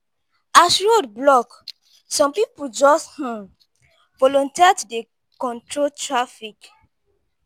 as road block some pipu just um volunteer to dey control traffic.